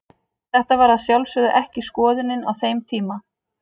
Þetta var að sjálfsögðu ekki skoðunin á þeim tíma.